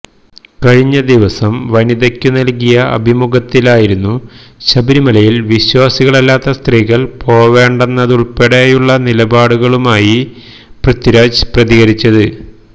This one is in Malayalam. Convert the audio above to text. കഴിഞ്ഞദിവസം വനിതയ്ക്ക് നൽകിയ അഭിമുഖത്തിലായിരുന്നു ശബരിമലയിൽ വിശ്വാസികളല്ലാത്ത സ്ത്രീകൾ പോവേണ്ടെന്നതുൾപ്പെടെയുള്ള നിലപാടുകളുമായി പൃഥ്വിരാജ് പ്രതികരിച്ചത്